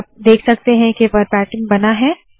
तो आप देख सकते है के वरबाटीम बना है